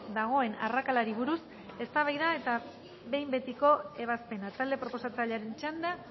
dagoen arrakalari buruz eztabaida eta behin betiko ebazpena talde proposatzailearen txanda